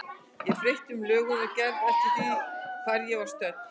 Ég breytti um lögun og gerð eftir því hvar ég var stödd.